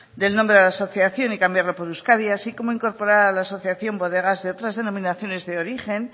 del nombre de la asociación y cambiarlo por euskadi así como incorporar a la asociación bodegas de otras denominaciones de origen